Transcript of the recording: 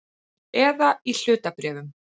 Eða í hlutabréfum.